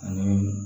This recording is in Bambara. Ani